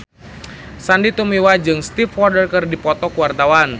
Sandy Tumiwa jeung Stevie Wonder keur dipoto ku wartawan